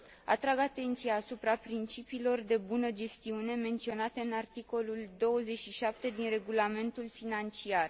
Atrag atenția asupra principiilor de bună gestiune menționate în articolul 27 din Regulamentul financiar.